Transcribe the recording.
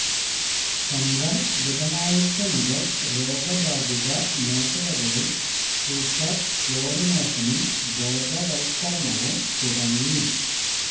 സംഘം ബുധനാഴ്ച മുതൽ രോഗബാധിത മേഖലകളിൽ സൂപ്പർ ക്ലോറിനേഷനും ബോധവത്കരണവും തുടങ്ങി